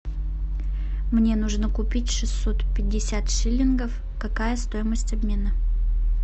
мне нужно купить шестьсот пятьдесят шиллингов какая стоимость обмена